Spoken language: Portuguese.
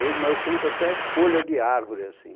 Eu mas eu conto até folha de árvore, assim.